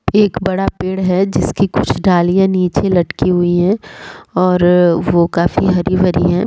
एक बड़ा पेड़ है जिसकी कुछ डालियाँ नीचे लटकी हुई है और वो काफ़ी हरी-भरी है ।